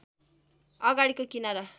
अगाडिको किनारा